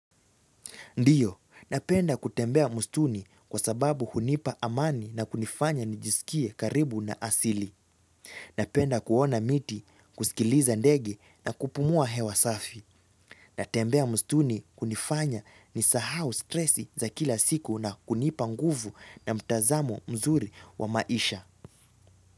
Ndiyo, napenda kutembea mstuni kwa sababu hunipa amani na kunifanya nijisikie karibu na asili. Napenda kuona miti, kusikiliza ndege na kupumua hewa safi. Natembea mstuni hunifanya nisahau stresi za kila siku na kunipa nguvu na mtazamo mzuri wa maisha.